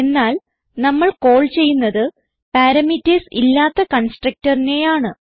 എന്നാൽ നമ്മൾ കാൾ ചെയ്യുന്നത് പാരാമീറ്റർസ് ഇല്ലാത്ത constructorനെയാണ്